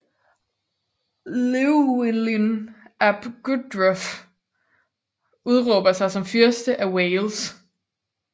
Llywelyn ap Gruffudd udråber sig som Fyrste af Wales